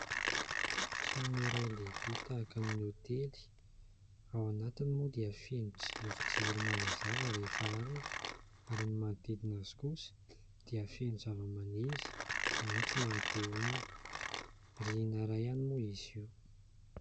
Trano iray lehibe tahaka ny hotely. Ao anatiny moa dia feno jirojiro manazava rehefa alina ary ny manodidina azy kosa dia feno zavamaniry maitso mahate-honina. Rihana iray ihany moa izy io.